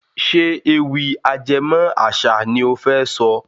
Ṣé ewì ajẹmó àṣà ni ó fẹ́ sọ?